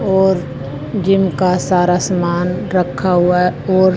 और जिम का सारा सामान रखा हुआ है और--